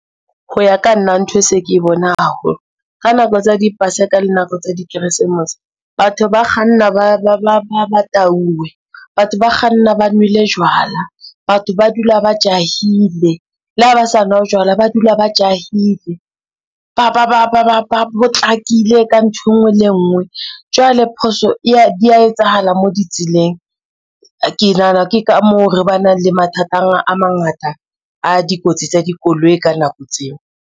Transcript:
Ho ya ka nna ntho e se ke bona haholo ka nako tsa dipaseka le nako tsa dikeresemose, batho ba kganna ba tauwe, batho ba kganna ba nwele jwala, batho ba dula ba jahile, le ha ba sa nwa jwala ba dula ba jahile, ba potlakile ka ntho e ngwe le e ngwe. Jwale phoso dia etsahala mo di tseleng, ke nahana ke ka moo re ba nang le mathata a mangata a dikotsi tsa dikoloi ka nako tseo.